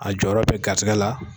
A jɔyɔrɔ bi garisɛgɛ la.